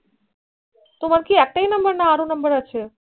তোমার কি একটাই number না আরও number আছে